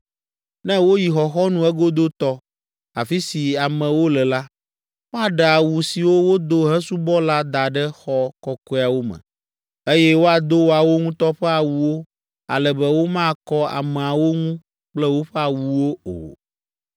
Ne woyi xɔxɔnu egodotɔ, afi si amewo le la, woaɖe awu siwo wodo hesubɔ la da ɖe xɔ kɔkɔeawo me, eye woado woawo ŋutɔ ƒe awuwo ale be womakɔ ameawo ŋu kple woƒe awuwo o.